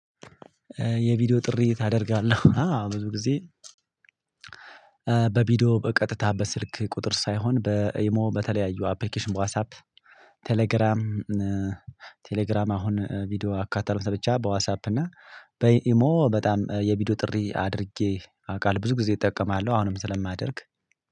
የቪዲዮ ጥሪ ታደርጋለህ? አዎ ብዙ ጊዜ በቪዲዮ በቀጥታ በስልክ ቁጥር ሳይሆን በኢሞ በተለያዩ አፕልኬሽን በዋሳፕ ቴሌግራም ቴሌግራም አሁን ቪዲዮ አካታለሁኝ ብቻ በዋሳፕ እና በኢሞ በጣም የቪዲዮ ጥሪ አድርጌ አውቃለሁ ብዙ ጊዜ እጠቀማለሁ አሁንም ስለማደርግ